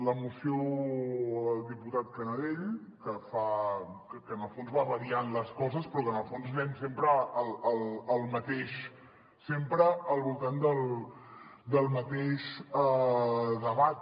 la moció del diputat canadell que va variant les coses però que en el fons anem sempre al mateix sempre al voltant del mateix debat